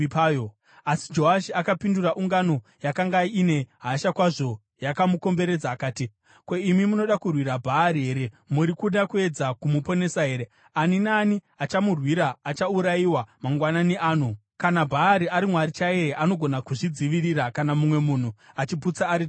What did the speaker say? Asi Joashi akapindura ungano yakanga ine hasha kwazvo yakamukomberedza akati, “Ko, imi munoda kurwira Bhaari here? Muri kuda kuedza kumuponesa here? Ani naani achamurwira achaurayiwa mangwanani ano! Kana Bhaari ari mwari chaiye, anogona kuzvidzivirira kana mumwe munhu achiputsa aritari yake.”